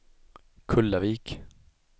Kullavik